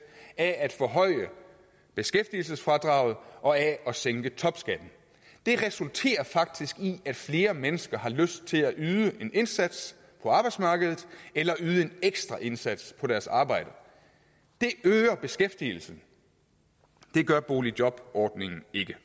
af at forhøje beskæftigelsesfradraget og af at sænke topskatten det resulterer faktisk i at flere mennesker har lyst til at yde en indsats på arbejdsmarkedet eller yde en ekstra indsats på deres arbejde det øger beskæftigelsen det gør boligjobordningen ikke